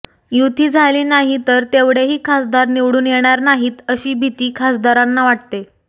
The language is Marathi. युती झाली नाही तर तेवढेही खासदार निवडून येणार नाहीत अशी भीती खासदारांना वाटते